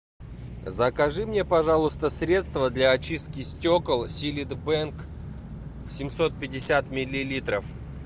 закажи мне пожалуйста средство для очистки стекол силит бэнг семьсот пятьдесят миллилитров